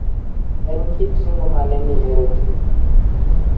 En kit ring'o mane mihero tedo?